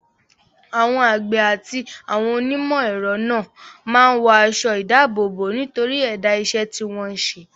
Àwọn àgbẹ̀ àti àwọn onímọ̀-ẹ̀rọ náà máa ń wọ aṣọ-ìdáàbòbò nítorí ẹ̀dá iṣẹ́ tí wọ́n ń ṣe.